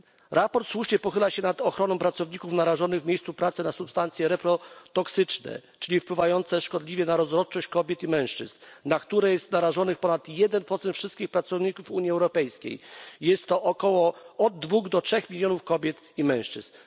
Sprawozdanie słusznie pochyla się nad ochroną pracowników narażonych w miejscu pracy na substancje reprotoksyczne, czyli wpływające szkodliwie na rozrodczość kobiet i mężczyzn, na które narażonych jest ponad 1 wszystkich pracowników Unii Europejskiej. Jest to od 2 do 3 mln kobiet i mężczyzn.